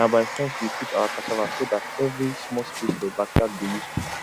na by fence we put our cassava so dat every small space for backyard go useful